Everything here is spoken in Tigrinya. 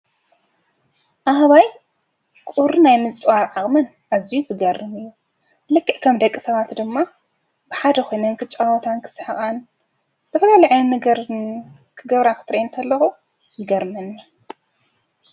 ኣህባይ ቁሪ ናይ ምፅዋር ዓቅመን ኣዝዩ ዝገርም እዩ፡፡ ልክዕ ከም ደቂሰባት ድማ ብሓድ ኮይነን ክፃወታን ክስሕቃን ዝተፈላለየ ዓይነት ነገራት ክገብራ ክሪእን ከለኩ ብጣዕሚ እዩ ይገርመኒ፡፡